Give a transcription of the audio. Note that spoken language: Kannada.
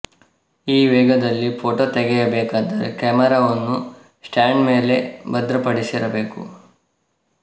ಈ ವೇಗದಲ್ಲಿ ಫೋಟೋ ತೆಗೆಯಬೇಕಾದರೆ ಕ್ಯಾಮರಾವನ್ನು ಸ್ಟ್ಯಾಂಡ್ ಮೇಲೆ ಭದ್ರಪಡಿಸಿರಬೇಕು